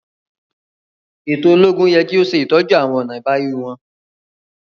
Eto ologun yẹ ki o ṣetọju awọn ọna ibawi wọn.